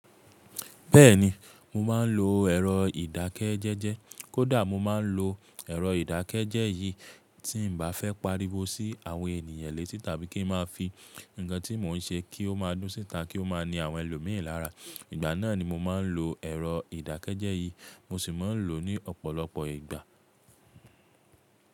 Bẹ́ẹ̀ni, mo máa ń lo ẹ̀rọ ìdákẹ́jẹ́jẹ́. Kódà mo máa ń lo ẹ̀rọ ìdákẹ́jẹ́jẹ́ yìí tí n ba fẹ́ pariwo sí àwọn ènìyàn lẹ́sì tàbí kí n máa fi nǹkan tí mò ń ṣe kí ó máa dún síta kí ó máa ní àwọn ẹlòmíràn lára. Ìgbá náà ni mo máa ń lo ẹ̀rọ ìdákẹ́jẹ́jẹ́ yìí mo sì máa ń lò ó ní ọ̀pọ̀lọpọ̀ ìgbà.